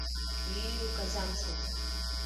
лилию казанцеву